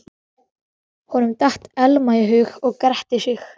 Honum datt Elma í hug og gretti sig.